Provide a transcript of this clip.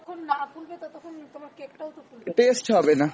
taste হবেনা